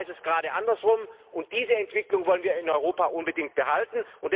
In Europa ist es gerade andersherum, und diese Entwicklung wollen wir in Europa unbedingt behalten.